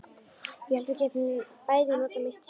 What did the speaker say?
Ég hélt við gætum bæði notað mitt hjól.